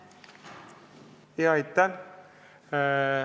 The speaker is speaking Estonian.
Aitäh!